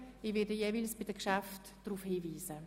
Ich werde bei den jeweiligen Geschäften darauf hinweisen.